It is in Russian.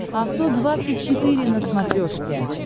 авто двадцать четыре на смотрешке